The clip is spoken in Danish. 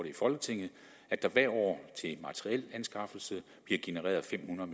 i folketinget at der hvert år bliver genereret fem hundrede